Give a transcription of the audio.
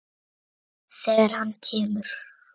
Þegar hann kemur.